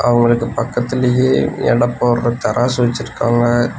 அவுங்களுக்கு பக்கத்துலயே எட போடற தராசு வெச்சுருக்காங்க.